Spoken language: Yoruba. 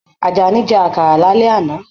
Ajání jẹ àkàrà lálẹ́ àná.